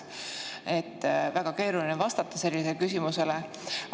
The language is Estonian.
Väga keeruline on vastata sellisele küsimusele.